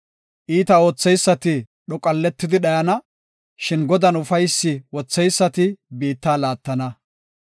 Iita ootheysati dhoqolletidi dhayana; shin Godan ufaysi wotheysati biitta laattana.